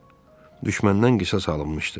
Düşməndən qisas alınmışdı.